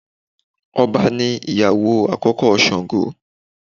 Ọbà ni ìyàwó àkókó Sàngó